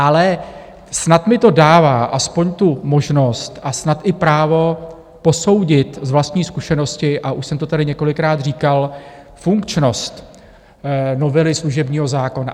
Ale snad mi to dává aspoň tu možnost a snad i právo posoudit z vlastní zkušenosti, a už jsem to tady několikrát říkal, funkčnost novely služebního zákona.